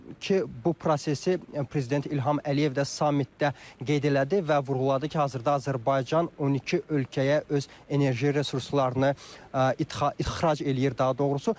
Ki, bu prosesi prezident İlham Əliyev də samitdə qeyd elədi və vurğuladı ki, hazırda Azərbaycan 12 ölkəyə öz enerji resurslarını ixrac eləyir daha doğrusu.